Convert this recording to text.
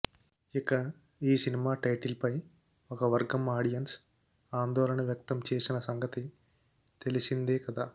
ఇక ఈ సినిమా టైటిల్పై ఒక వర్గం ఆడియన్స్ ఆందోళన వ్యక్తం చేసిన సంగతి తెలిసిందే కదా